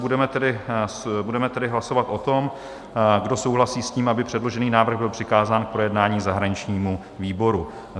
Budeme tedy hlasovat o tom, kdo souhlasí s tím, aby předložený návrh byl přikázán k projednání zahraničnímu výboru.